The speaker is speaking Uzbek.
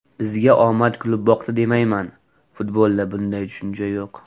Bizga omad kulib boqdi demayman, futbolda bunday tushuncha yo‘q.